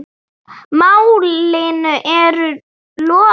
Málinu er lokið.